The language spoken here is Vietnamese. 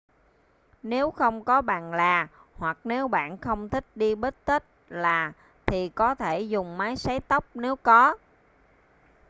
nếu không có bàn là hoặc nếu bạn không thích đi bít-tất là thì có thể dùng máy sấy tóc nếu có